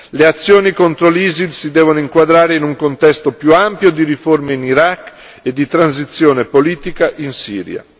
Le azioni contro l'ISIL si devono inquadrare in un contesto più ampio di riforme in Iraq e di transizione politica in Siria.